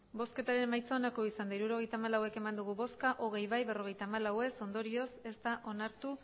emandako botoak hirurogeita hamalau bai hogei ez berrogeita hamalau ondorioz ez da onartu